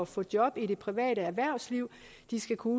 få job i det private erhvervsliv de skal kunne